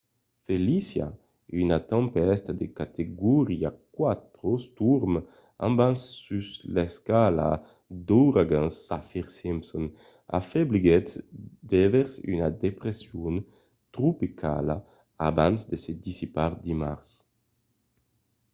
felicia una tempèsta de categoria 4 storm abans sus l'escala d'auragans saffir-simpson s'afebliguèt devers una depression tropicala abans de se dissipar dimars